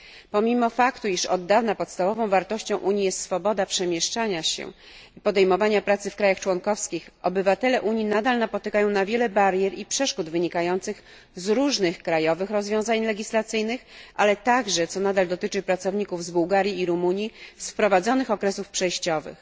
Pomimo faktu, iż od dawna podstawową wartością Unii jest swoboda przemieszczania się i podejmowania pracy w krajach członkowskich, obywatele Unii nadal napotykają na wiele barier i przeszkód wynikających z różnych krajowych rozwiązań legislacyjnych, ale także, co nadal dotyczy pracowników z Bułgarii i Rumunii, z wprowadzonych okresów przejściowych.